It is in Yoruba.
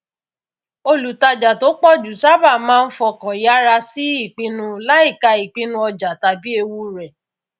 olùtajà tó pọ jù sábà máa ń fọkàn yára sí ìpinnu láìkà ìpinnu ọjà tàbí ewu rẹ